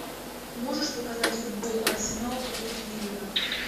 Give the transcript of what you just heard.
можешь показать футбол арсенал против ливера